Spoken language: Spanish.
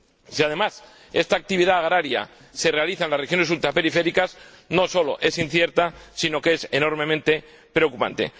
Si, además, esta actividad agraria se realiza en las regiones ultraperiféricas, no solo es incierta sino que es enormemente preocupante.